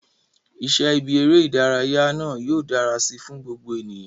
Iṣẹ́ ibi eré ìdárayá náà yóò dára si fún gbogbo ènìyàn